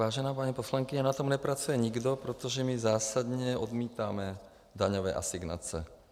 Vážená paní poslankyně, na tom nepracuje nikdo, protože my zásadně odmítáme daňové asignace.